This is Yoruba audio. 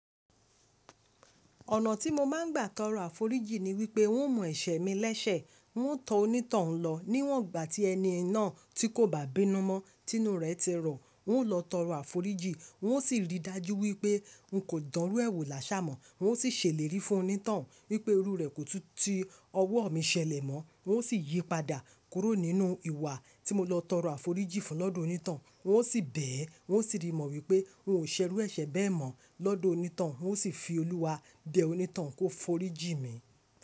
Ọ̀nà tí mo máa ń gbà tọrọ àforíjì ni wípé n ó mọ̀ ẹ̀ṣẹ̀ mi lẹ́sẹ̀, n ó tọ onítoun lọ níwọ̀n ìgbà tí ẹni náà tí kò bá bínú mọ́, tí inú rẹ̀ ti rọ, un ó lọ tọrọ àforíjì, un ó sì rí i dájú wípé un kò dánrú ẹ wo làṣà mọ́. N ó sì ṣèlérí fún onítoun wípé irú rẹ̀ kò tú tí ọwọ́ mi ṣẹlẹ̀ mọ́. N ó sì yípadà kúrò nínú ìwà tí mo lọ tọrọ àforíjì fún lọ́dọ̀ onítoun. N ó sì bẹ̀ ẹ́, n ó sì rí mọ wípé n ò ṣerú ẹ̀ṣẹ̀ bẹ́ẹ̀ mọ́ lọ́dọ̀ onítoun. N ó sì fi Olúwa bẹ onítoun kó foríjì mi.